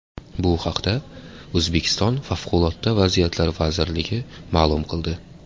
Bu haqda O‘zbekiston Favqulodda vaziyatlar vazirligi ma’lum qildi.